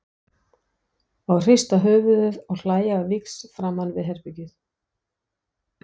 Og hrista höfuðið og hlæja á víxl framan við herbergið.